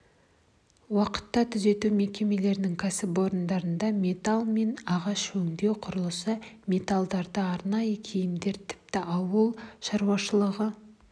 уақытта түзету мекемелерінің кәсіпорындарында металл мен ағаш өңдеу құрылыс материалдары арнайы киімдер тіпті ауыл шаруашылығы